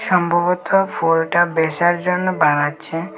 সম্ভবত ফুলটা বেঁচার জন্য বানাচ্ছে।